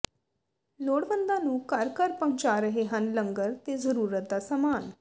ਲੋੜਵੰਦਾਂ ਨੂੰ ਘਰ ਘਰ ਪਹੁੰਚਾ ਰਹੇ ਹਨ ਲੰਗਰ ਤੇ ਜਰੂਰਤ ਦਾ ਸਮਾਨ